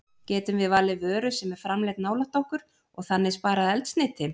Getum við valið vöru sem er framleidd nálægt okkur og þannig sparað eldsneyti?